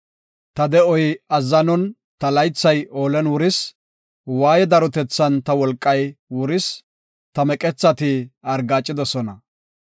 Ta de7oy azzanon, ta laythay oolen wuris; waaye darotethan ta wolqay wuris; ta meqethati argaacidosona.